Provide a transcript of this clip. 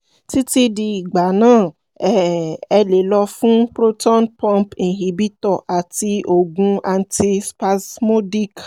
títí di ìgbà náà um ẹ lè lọ fún proton pump inhibitor àti òògùn anti spasmodic